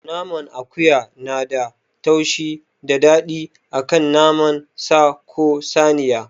Naman akuya nada taushi da daɗi akan naman sa ko saniya